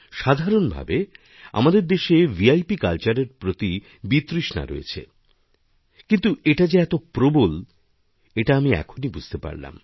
সাধারণভাবে আমাদের দেশে ভিআইপি কালচারের প্রতি বিতৃষ্ণারয়েছে কিন্তু এটা যে এত প্রবল এটা আমি এখনই বুঝতে পারলাম